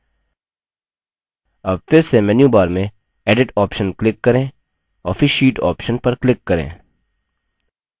अब फिर से मेन्यूबार में edit option click करें और फिर sheet option पर click करें